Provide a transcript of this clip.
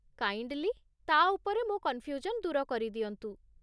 Kindly, ତା' ଉପରେ ମୋ କନ୍‌ଫ୍ୟୁଜନ୍ ଦୂର କରିଦିଅନ୍ତୁ?